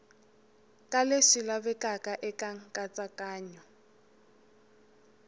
ka leswi lavekaka eka nkatsakanyo